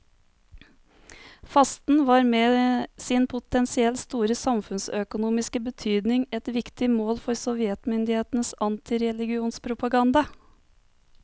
Fasten var med sin potensielt store samfunnsøkonomiske betydning et viktig mål for sovjetmyndighetenes antireligionspropaganda.